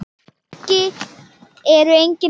Kannski eru engin svör.